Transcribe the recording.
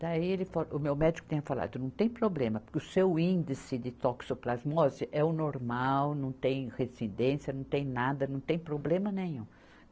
Daí ele fa, o meu médico tinha falado, não tem problema, porque o seu índice de toxoplasmose é o normal, não tem residência, não tem nada, não tem problema nenhum.